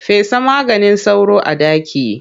Fesa maganin sauro a ɗaki.